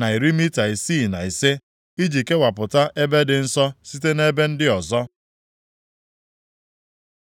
na iri mita isii na ise, iji kewapụta ebe dị nsọ site nʼebe ndị ọzọ.